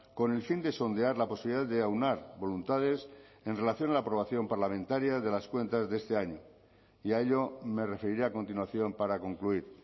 con el fin de sondear la posibilidad de aunar voluntades en relación a la aprobación parlamentaria de las cuentas de este año y a ello me referiré a continuación para concluir